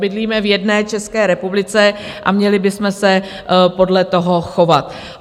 Bydlíme v jedné České republice a měli bychom se podle toho chovat.